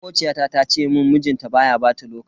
Makociyata ta ce mun mijinta baya bata lokaci.